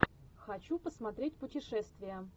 хочу посмотреть путешествия